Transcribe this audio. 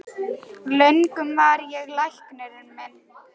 Löngum var ég læknir minn